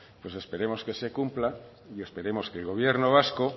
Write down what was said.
pues esperemos que se cumpla y esperemos que el gobierno vasco